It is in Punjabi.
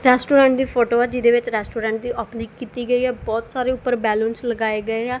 ਰੈਸਟੋਰੈਂਟ ਦੀ ਫੋਟੋ ਆ ਜਿਹਦੇ ਵਿੱਚ ਰੈਸਟੋਰੈਂਟ ਦੀ ਓਪਨਿੰਗ ਕੀਤੀ ਗਈ ਹੈ। ਬਹੁਤ ਸਾਰੇ ਉੱਪਰ ਬੈਲੂਨਸ ਲਗਾਏ ਗਏ ਆ।